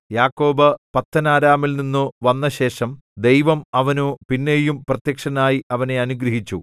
യാക്കോബ് പദ്ദൻഅരാമിൽനിന്നു വന്നശേഷം ദൈവം അവനു പിന്നെയും പ്രത്യക്ഷനായി അവനെ അനുഗ്രഹിച്ചു